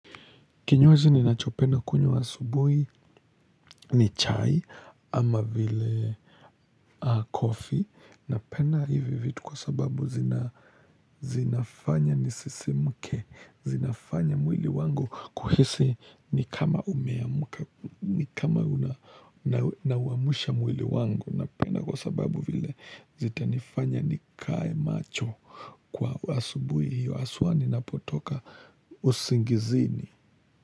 Kinywaji ninachopenda kunywa asubuhi ni chai ama vile kofi. Napenda hivi vitu kwa sababu zina zinafanya nisisimke, zinafanya mwili wangu kuhisi ni kama umeamka, ni kama una, nauamsha mwili wangu, napenda kwa sababu vile zitanifanya nikae macho kwa asubuhi hiyo haswa ninapotoka usingizini.